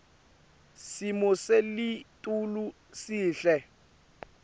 simo selitulu sihle